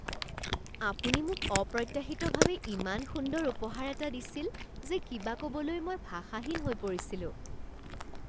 আপুনি মোক অপ্ৰত্যাশিতভাৱে ইমান সুন্দৰ এটা উপহাৰ দিছিল যে কিবা ক'বলৈ মই ভাষাহীন হৈ পৰিছিলোঁ।